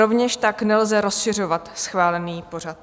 Rovněž tak nelze rozšiřovat schválený pořad.